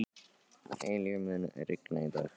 Eilíf, mun rigna í dag?